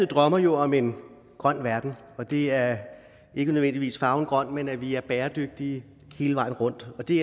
drømmer jo om en grøn verden og det er ikke nødvendigvis farven grøn men at vi er bæredygtige hele vejen rundt og det